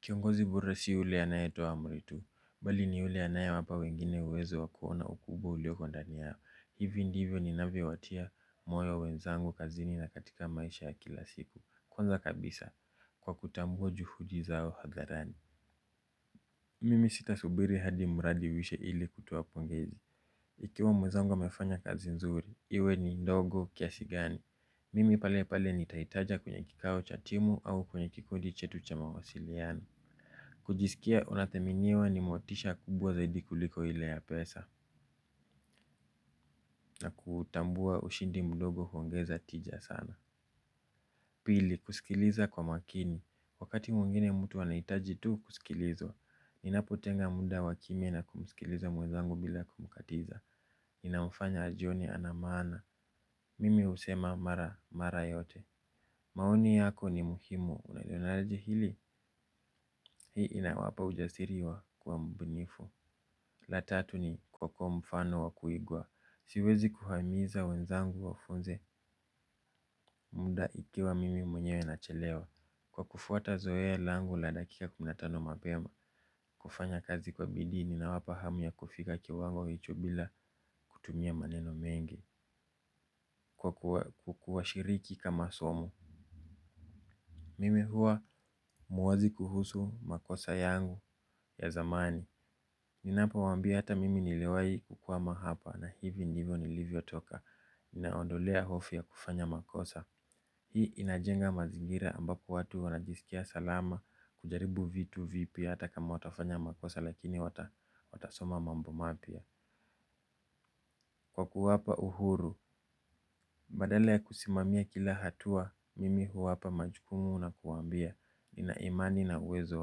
Kiongozi bora si yule anaye toa amri tu, bali ni yule anaye wapa wengine uwezo wakuona ukubwa ulioko ndani yao, hivi ndivyo ninavyo watia moyo wenzangu kazini na katika maisha ya kila siku, kwanza kabisa kwa kutambuwa juhudi zao hadharani. Mimi sita subiri hadi muradi uishe ili kutoa pongezi, ikiwa mwenzangu amefanya kazi nzuri, iwe ni ndogo kiasi gani, mimi pale pale nitaitaja kwenye kikawo cha timu au kwenye kikondi chetu cha mawasiliano. Kujisikia unadhaminiwa ni mutisha kubwa zaidi kuliko ile ya pesa. Na kutambua ushindi mdogo huongeza tija sana. Pili kusikiliza kwa makini. Wakati mwingine mtu anahitaji tu kusikilizwa. Ninapotenga muda wakimya na kumsikiliza mwezangu bila kumkatiza inamfanya ajione ana maana. Mimi husema mara mara yote. Maoni yako ni muhimu unalionaje hili. Hii inawapa ujasiri wa kuwa mbunifu. La tatu ni kiongozi mfano wakuigua. Siwezi kuhamiza wenzangu wafunze muda ikiwa mimi mwenyewe nachelewa. Kwa kufuata zoe langu la dakika kumi na tano mapema. Kufanya kazi kwa bidii nina wapa hamu ya kufika kiwango cha juu bila kutumia maneno mengi. Kukuashirika masomo mimi hua muwazi kuhusu makosa yangu ya zamani. Ninapo waambia hata mimi niliwahi kukwama hapa na hivi ndivyo nilivyo toka nawaondelea hofu ya kufanya makosa. Hii inajenga mazingira ambapo watu wanajisikia salama. Kujaribu vitu vipya hata kama watafanya makosa lakini watasoma mambo mapya. Kwa kuwapa uhuru. Badala ya kusimamia kila hatua. Mimi huwapa majukumu na kuwambia. Ninaimani na uwezo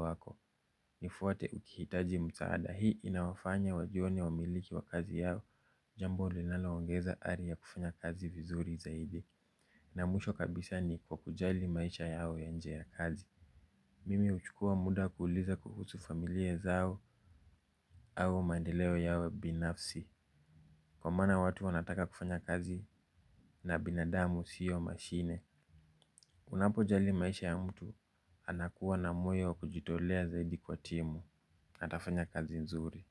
wako. Nifuate ukihitaji msaada. Hii inawafanya wajioni wamiliki wa kazi yao. Jambo linalo ongeza ari ya kufanya kazi vizuri zaidi. Na mwisho kabisa ni kwa kujali maisha yao y nje ya kazi. Mimi huchukua muda kuuliza kuhusu familia zao au maendeleo yao binafsi. Kwa maana watu wanataka kufanya kazi na binadamu siyo mashine. Unapo jali maisha ya mtu anakuwa na moyo kujitolea zaidi kwa timu. Na atafanya kazi nzuri.